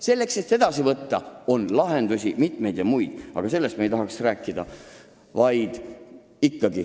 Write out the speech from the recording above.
Selleks, et napsu võtta, on lahendusi muidki, aga sellest ma ei tahaks rääkida.